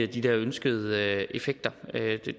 de ønskede effekter